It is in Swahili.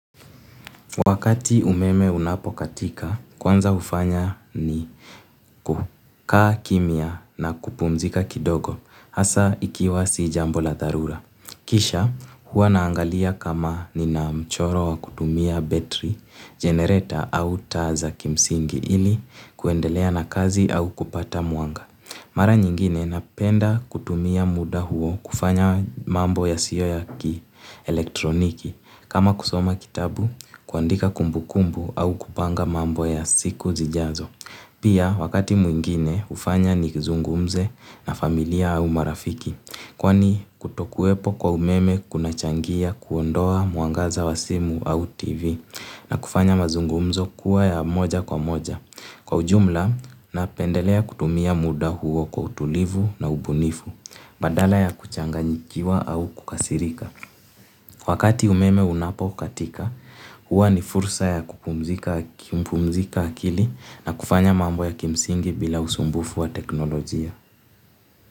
Wakati umeme unapokatika, kwanza hufanya ni kukaa kimya na kupumzika kidogo hasa ikiwa si jambo la tharula. Kisha huwa naangalia kama ninamchoro wa kutumia battery, generator au taa za kimsingi ili kuendelea na kazi au kupata mwanga. Mara nyingine napenda kutumia muda huo kufanya mambo yasiyo ya kielektroniki kama kusoma kitabu kuandika kumbukumbu au kupanga mambo ya siku zijazo. Pia wakati mwingine hufanya ni zungumze na familia au marafiki kwani kutokuwepo kwa umeme kunachangia kuondoa mwangaza wa simu au tv na kufanya mazungumzo kuwa ya moja kwa moja. Kwa ujumla, napendelea kutumia muda huo kwa utulivu na ubunifu, badala ya kuchanganyikiwa au kukasirika. Wakati umeme unapokatika, huwa ni fursa ya kupumzika akili na kufanya mambo ya kimsingi bila usumbufu wa teknolojia.